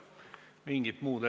Suur tänu kõigile!